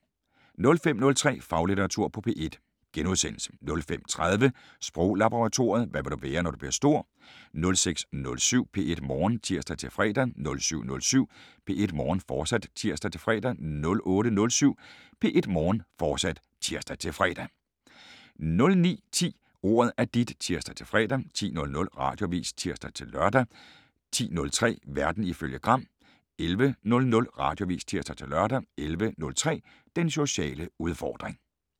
05:03: Faglitteratur på P1 * 05:30: Sproglaboratoriet: Hvad vil du være, når du bliver stor? 06:07: P1 Morgen (tir-fre) 07:07: P1 Morgen, fortsat (tir-fre) 08:07: P1 Morgen, fortsat (tir-fre) 09:10: Ordet er dit (tir-fre) 10:00: Radioavis (tir-lør) 10:03: Verden ifølge Gram 11:00: Radioavis (tir-lør) 11:03: Den sociale udfordring